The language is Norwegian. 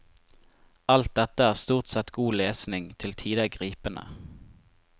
Alt dette er stort sett god lesning, til tider gripende.